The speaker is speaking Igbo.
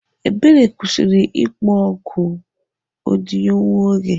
Ebere kwụsịrị ịkpọ oku odiyo nwa oge.